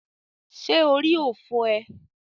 Ṣé orí ò fọ́ ee?